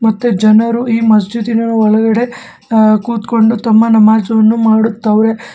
ಮತ್ತೆ ಜನರು ಈ ಮಸ್ಜೀದಿ ನ ಒಳಗಡೆ ಕುತ್ಕೊಂಡು ತಮ್ಮ ನಮಾಜ್ ಅನ್ನು ಮಾಡುತ್ತವ್ರೆ.